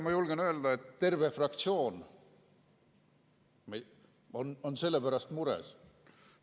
Ma julgen öelda, et terve meie fraktsioon on selle pärast mures.